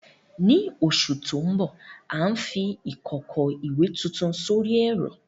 Ní oṣù tó ń bọ̀, à ń fi ìkòkò ìwẹ̀ tuntun sórí ẹ̀rọ.